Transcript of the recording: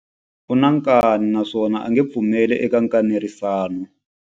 U na nkani naswona a nge pfumeli eka nkanerisano.